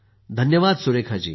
धान्यवाद Surekha जी